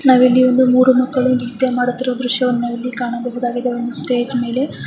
ನಾವು ಇಲ್ಲಿ ಒಂದು ಮೂರು ಮಕ್ಕಳು ನೃತ್ಯ ಮಾಡುತ್ತಿರುವ ದೃಶ್ಯವನ್ನು ನಾವು ಇಲ್ಲಿ ಕಾಣಬಹುದಾಗಿದೆ ಒಂದು ಸ್ಟೇಜ್ ಮೇಲೆ .